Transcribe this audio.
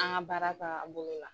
An ŋa baara tagabolo la